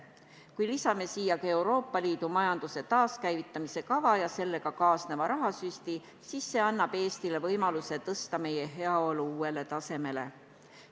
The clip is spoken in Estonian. Kui lisame siia Euroopa Liidu majanduse taaskäivitamise kava ja sellega kaasneva rahasüsti, siis see annab Eestile võimaluse tõsta meie heaolu uuele tasemele.